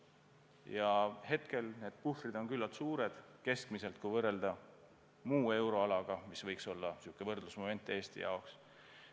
Praegu need puhvrid on keskmiselt küllalt suured, kui võrrelda muu euroalaga, mis võiks olla võrdlusmoment Eesti jaoks.